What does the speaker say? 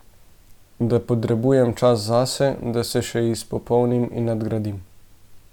Da potrebujem čas zase, da se še izpopolnim in nadgradim.